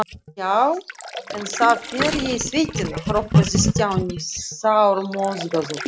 Já, en þá fer ég í sveitina hrópaði Stjáni sármóðgaður.